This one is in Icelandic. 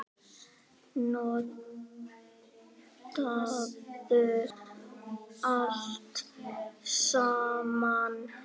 Notaðu allt saman.